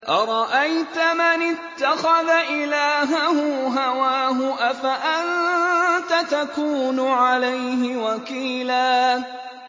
أَرَأَيْتَ مَنِ اتَّخَذَ إِلَٰهَهُ هَوَاهُ أَفَأَنتَ تَكُونُ عَلَيْهِ وَكِيلًا